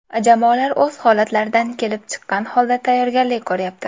Jamoalar o‘z holatlaridan kelib chiqqan holda tayyorgarlik ko‘ryapti.